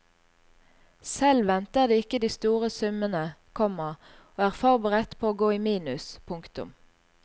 Selv venter de ikke de store summene, komma og er forberedt på å gå i minus. punktum